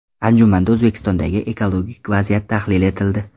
Anjumanda O‘zbekistondagi ekologik vaziyat tahlil etildi.